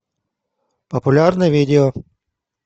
популярные видео